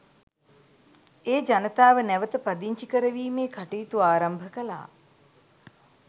ඒ ජනතාව නැවත පදිංචි කරවීමේ කටයුතු ආරම්භ කළා.